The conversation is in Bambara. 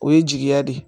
O ye jigiya de ye